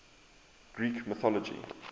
greek mythology